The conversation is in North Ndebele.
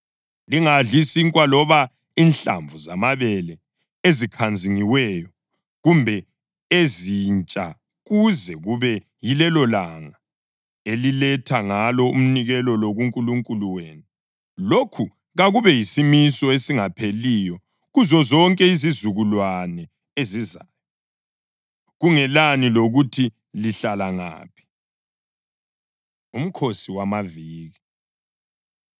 Lingadli sinkwa loba inhlamvu zamabele ezikhanzingiweyo kumbe ezintsha kuze kube yilelolanga eliletha ngalo umnikelo lo kuNkulunkulu wenu. Lokhu kakube yisimiso esingapheliyo kuzozonke izizukulwane ezizayo kungelani lokuthi lihlala ngaphi.’ ” UMkhosi WamaViki